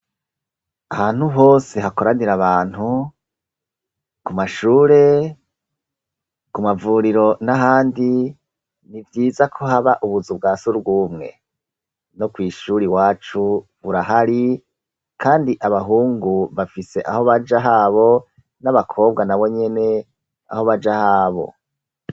Ahantu hose hakoranira abantu ku mashure ku mavuriro n'ahandi nivyiza ko haba ubuzu bwasugumwe no kwishuri iwacu burahari kandi abahungu bafise aho baja habo n'abakobwa nabo nyene aho baja habo.